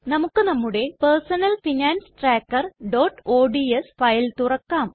നമുക്ക് നമ്മുടെ personal finance trackerഓഡ്സ് ഫയൽ തുറക്കാം